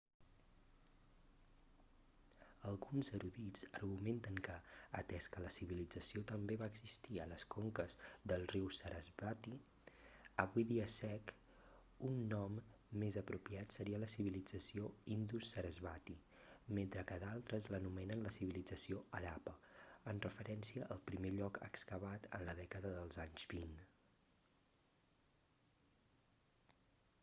alguns erudits argumenten que atès que la civilització també va existir a les conques del riu sarasvati avui dia sec un nom més apropiat seria la civilització indus-sarasvati mentre que d'altres l'anomenen la civilització harappa en referència al primer lloc excavat en la dècada dels anys vint